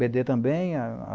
bê dê também.